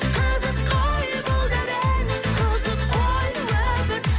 қызық қой бұл дәурен қызық қой өмір